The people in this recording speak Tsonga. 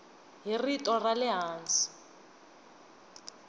hi rito ra le hansi